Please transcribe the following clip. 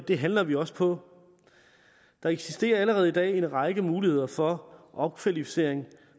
det handler vi også på der eksisterer allerede i dag en række muligheder for opkvalificering